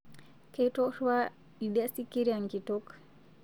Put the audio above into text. Ketorua idia sikiria nkitok